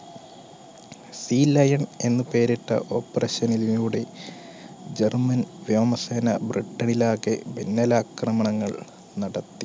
sea lion എന്ന് പേരിട്ട operation ലൂടെ german വ്യോമസേന ബ്രിട്ടനിലാകെ മിന്നലാക്രമണങ്ങൾ നടത്തി